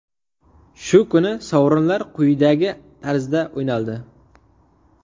Shu kuni sovrinlar quyidagi tarzda o‘ynaldi.